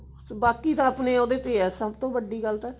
ਬਾਕੀ ਤਾਂ ਆਪਣੇ ਉਹਦੇ ਤੇ ਆ ਸਭ ਤੋਂ ਵੱਡੀ ਗੱਲ ਤਾਂ